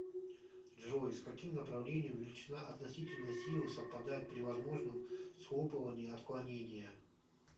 джой с каким направлением величина относительной силы совпадает при возможном схлопывании отклонения